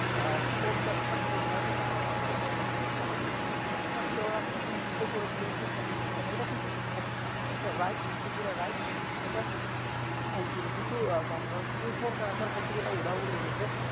আহ সম্ভবতার আহ আমার আমার ঠিক জানা নেই তিনি ছাত্র আসীন কে নিষিদ্ধ করে ছিলেন শিক্ষা প্রতিষ্ঠানে এটা কিন্তু একটা right decision ছিল right এটা আইন ছিল কিন্তু আহ bangladesh এই সরকার আসার পর থেকে সব উধাও হয়ে গেছে